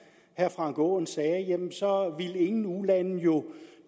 herre frank aaen sagde ville ingen ulande jo